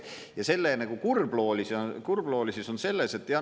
Ja selle kurbloolisus on selles …